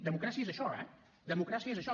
democràcia és això eh democràcia és això